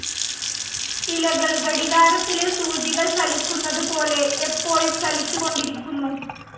ഇലകൾ ഘടികാരത്തിലെ സൂചികൾ ചലിക്കുന്നത് പോലെ എപ്പോഴും ചലിച്ചുകൊണ്ടിരിക്കുന്നു.